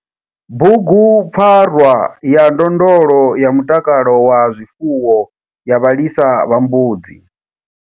Bugu PFARWA YA NDONDLO YA MUTAKALO WA ZWIFUWO YA VHALISA VHA MBUDZI.